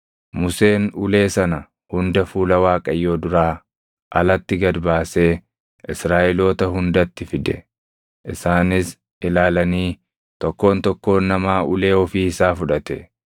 Museen ulee sana hunda fuula Waaqayyoo duraa alatti gad baasee Israaʼeloota hundatti fide. Isaanis ilaalanii tokkoon tokkoon namaa ulee ofii isaa fudhate.